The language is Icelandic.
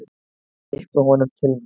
Ég kippi honum til mín.